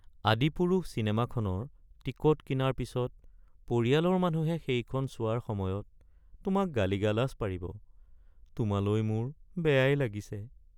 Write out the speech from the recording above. ‘আদিপুৰুষ’ চিনেমাখনৰ টিকট কিনাৰ পিছত পৰিয়ালৰ মানুহে সেইখন চোৱাৰ সময়ত তোমাক গালি-গালাজ পাৰিব। তোমালৈ মোৰ বেয়াই লাগিছে।